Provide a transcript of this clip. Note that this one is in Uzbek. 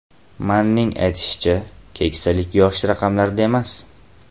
Manning aytishicha, keksalik yosh raqamlarida emas.